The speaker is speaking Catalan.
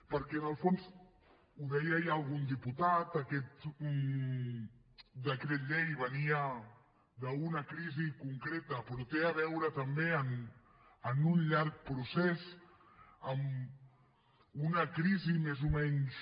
perquè en el fons ho deia ja algun diputat aquest decret llei venia d’una crisi concreta però té a veure també amb un llarg procés amb una crisi més o menys